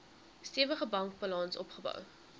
stewige bankbalans opgebou